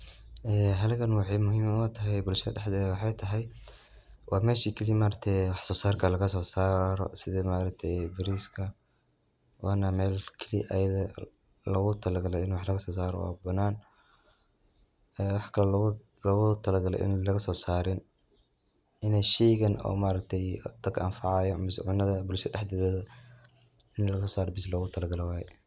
Haligan waxay muhim utahay bulshada daxdeeda waxay tahay wa mesha kali waxsosarka lagasosaaro sida maargtay bariska wana meel kaliya ayada loga talagalay in wax lagsosaro o af banan e waxa kala loga talagalay in laga sosarin in shay dad anfacaya misa cunada bulshada daxdeda in lagsosara bas logatalagaly waya.